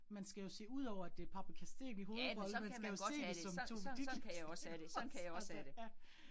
Man skal jo se udover, at det Paprika Steen i hovedrollen, man skal jo se det som Tove Ditlevsen også altså ja